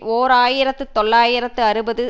ஓர் ஆயிரத்து தொள்ளாயிரத்து அறுபது